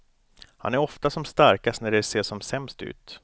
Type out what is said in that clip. Han är ofta som starkast när det ser som sämst ut.